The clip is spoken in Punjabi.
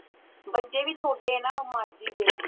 ਬੱਚੇ ਵੀ ਛੋਟੇ ਆ ਨਾ ਮਾਸੀ ਦੇ